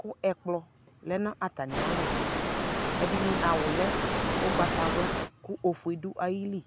kʊ ɛkplɔ lɛ nʊ atamialɔ, ɛdɩnɩ awu lɛ ugbatawla kʊ ofue dʊ ayili